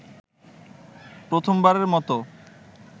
প্রথমবারের মতো